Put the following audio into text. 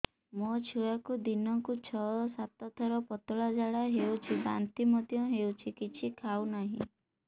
ମୋ ଛୁଆକୁ ଦିନକୁ ଛ ସାତ ଥର ପତଳା ଝାଡ଼ା ହେଉଛି ବାନ୍ତି ମଧ୍ୟ ହେଉଛି କିଛି ଖାଉ ନାହିଁ